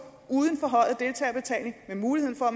uden forhøjet deltagerbetaling med mulighed for at